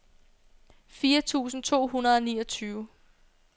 fire tusind to hundrede og niogtyve